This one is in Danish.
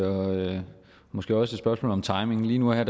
og måske også et spørgsmål om timing lige nu og her